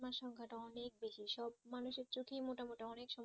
সেই সংখ্যা টা অনেক বেশি সব মানুষের চোখেই মোটামোটি অনেক